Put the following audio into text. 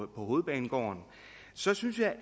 hovedbanegården så synes jeg